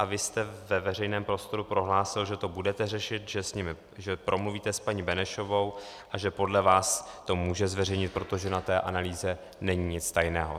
A vy jste ve veřejném prostoru prohlásil, že to budete řešit, že promluvíte s paní Benešovou a že podle vás to může zveřejnit, protože na té analýze není nic tajného.